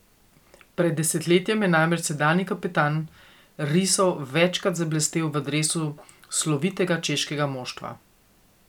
Pred desetletjem je namreč sedanji kapetan risov večkrat zablestel v dresu slovitega češkega moštva.